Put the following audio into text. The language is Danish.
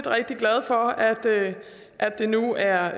rigtig glad for at at det nu er